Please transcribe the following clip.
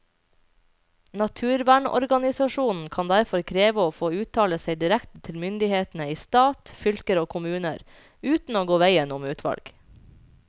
Naturvernorganisasjonene kan derfor kreve å få uttale seg direkte til myndighetene i stat, fylker og kommuner, uten å gå veien om utvalg.